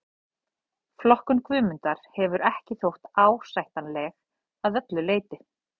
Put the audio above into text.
Flokkun Guðmundar hefur ekki þótt ásættanleg að öllu leyti.